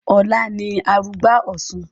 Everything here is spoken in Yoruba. Ọlá ni arugbá Ọ̀sun